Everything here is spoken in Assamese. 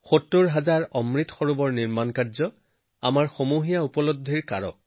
৭০ হাজাৰ অমৃত সৰোৱৰ নিৰ্মাণো আমাৰ সামূহিক উপলব্ধি হৈছে